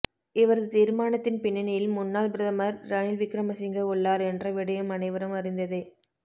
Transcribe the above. இவரது தீர்மானத்தின் பின்னணியில் முன்னாள் பிரதமர் ரணில் விக்கிரமசிங்க உள்ளார் என்ற விடயம் அனைவரும் அறிந்ததே